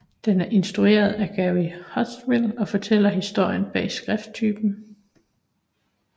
Den er instrueret af Gary Hustwit og fortæller historien bag skrifttypen